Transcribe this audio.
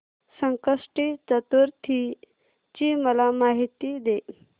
संकष्टी चतुर्थी ची मला माहिती दे